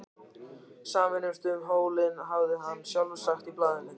Sameinumst um hólinn, hafði hann sjálfur sagt í blaðinu.